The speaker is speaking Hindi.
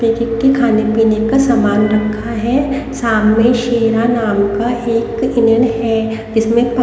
खाने पीने का समान रखा है सामने शेरा नाम का एक हिनन है जिसमें--